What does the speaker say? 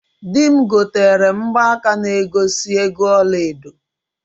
Di m gotere m mgbaka na egosi ego ọla edo.